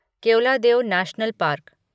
Keoladeo national park